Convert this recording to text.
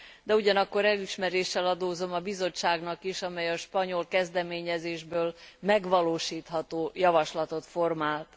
De ugyanakkor elismeréssel adózom a Bizottságnak is, amely a spanyol kezdeményezésből megvalósítható javaslatot formált.